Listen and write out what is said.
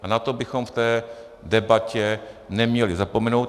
A na to bychom v té debatě neměli zapomenout.